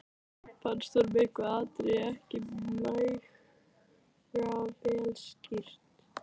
Fannst honum eitthvað atriði ekki nægilega vel skýrt.